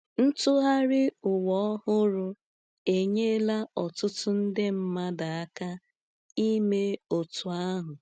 Ntụgharị Ụwa Ọhụrụ enyela ọtụtụ nde mmadụ aka ime otú ahụ.